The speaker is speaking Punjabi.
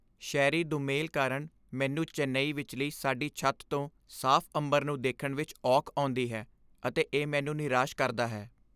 ਸ਼ਹਿਰੀ ਦੁਮੇਲ ਕਾਰਣ ਮੈਂਨੂੰ ਚੇਨਈ ਵਿੱਚਲੀ ਸਾਡੀ ਛੱਤ ਤੋਂ ਸਾਫ਼ ਅੰਬਰ ਨੂੰ ਦੇਖਣ ਵਿਚ ਔਖ ਆਉਂਦੀ ਹੈ ਅਤੇ ਇਹ ਮੈਨੂੰ ਨਿਰਾਸ਼ ਕਰਦਾ ਹੈ।